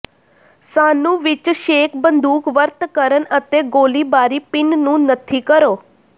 ਸਾਨੂੰ ਵਿੱਚ ਛੇਕ ਬੰਦੂਕ ਵਰਤ ਕਰਨ ਅਤੇ ਗੋਲੀਬਾਰੀ ਪਿੰਨ ਨੂੰ ਨੱਥੀ ਕਰੋ